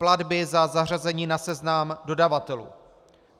Platby za zařazení na seznam dodavatelů.